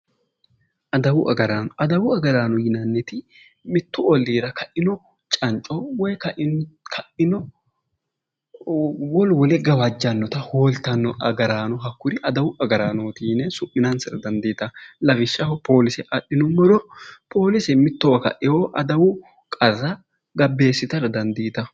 Adawu agaraano adawu agaraano yinanniti mittu oliira ka'ino canico woyi kaino wolu wole gawajjanota Hoolittano agaraano hakkuri adawu agaraanoti yine su'minisara dadiitanno lawishshaho polise adhinumoro polise mittowa kaewo adawu qarra gabbeesitara danidiisitawo